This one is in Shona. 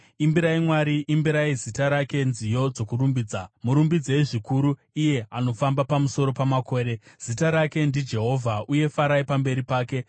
Imbirai Mwari, imbirai zita rake nziyo dzokurumbidza, murumbidzei zvikuru iye anofamba pamusoro pamakore, zita rake ndiJehovha, uye farai pamberi pake.